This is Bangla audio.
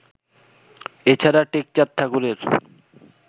এ ছাড়া টেকচাঁদ ঠাকুরের